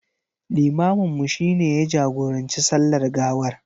Limaminmu shi ne ya jagoranci sallar gawar.